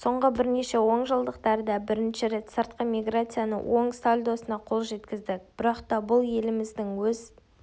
соңғы бірнеше онжылдықтарда бірінші рет сыртқы миграцияның оң сальдосына қол жеткіздік бірақта бұл еліміздің өз